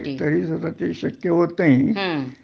तरी सुद्धा ते शक्य होत नाही